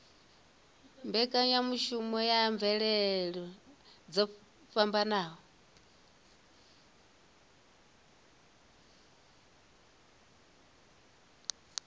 mbekanyamushumo ya mvelele dzo fhambanaho